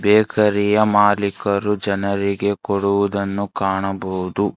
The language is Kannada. ಬೇಕರಿ ಯ ಮಾಲೀಕರು ಜನರಿಗೆ ಕೊಡುವುದನ್ನು ಕಾಣಬಹುದು.